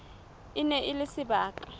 e ne e le sebaka